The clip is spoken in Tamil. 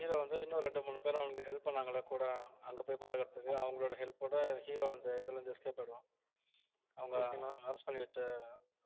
hero வந்து இன்னும் ரெண்டு மூணு பேர் அவனுக்கு help பண்ணாங்க இல்ல கூட அங்க போய் பழகுறதுக்கு அவங்களோட help ஓட hero அந்த இதுல இருந்து escape ஆயிடுவான் அவங்க arrest பண்ணி வச்ச